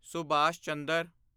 Subhash Chandra